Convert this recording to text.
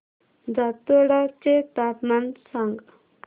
जातोडा चे तापमान सांग